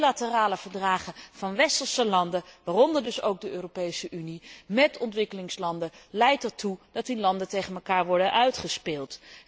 Bilaterale overeenkomsten van westerse landen, waaronder dus ook de Europese Unie, met ontwikkelingslanden leiden ertoe dat die landen tegen elkaar worden uitgespeeld.